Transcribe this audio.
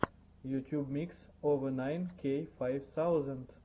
ютьюб микс овэ найн кей файв саузенд